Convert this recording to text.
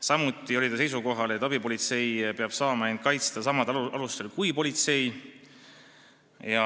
Samuti oli ta seisukohal, et abipolitseinik peab saama end kaitsta samadel alustel kui politseinik.